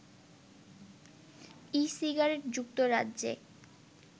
e cigarette যুক্তরাজ্যে